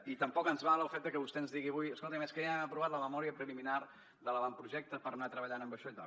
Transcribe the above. i tampoc ens val el fet de que vostè ens digui avui escolti és que ja han aprovat la memòria preliminar de l’avantprojecte per anar treballant amb això i tal